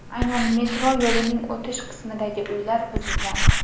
Aynan metro yo‘lining o‘tish qismidagi uylar buzilgan.